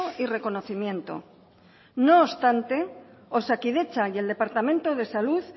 y reconocimiento no obstante osakidetza y el departamento de salud